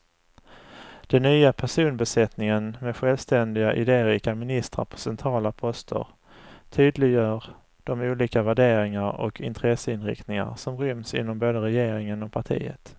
Den nya personbesättningen med självständiga, idérika ministrar på centrala poster tydliggör de olika värderingar och intresseinriktningar som ryms inom både regeringen och partiet.